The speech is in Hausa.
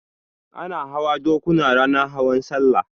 Ana hawa dokuna ranar hawan sallah